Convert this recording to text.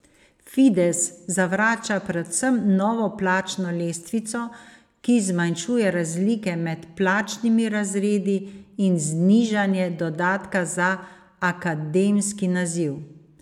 Fides zavrača predvsem novo plačno lestvico, ki zmanjšuje razlike med plačnimi razredi, in znižanje dodatka za akademski naziv.